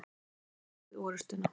Hefðum við unnið orustuna?